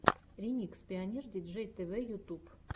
ремикс пионер диджей тэвэ ютуб